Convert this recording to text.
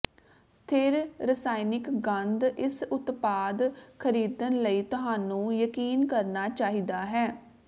ਸਥਿਰ ਰਸਾਇਣਕ ਗੰਧ ਇਸ ਉਤਪਾਦ ਖਰੀਦਣ ਲਈ ਤੁਹਾਨੂੰ ਯਕੀਨ ਕਰਨਾ ਚਾਹੀਦਾ ਹੈ